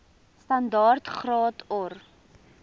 standaard graad or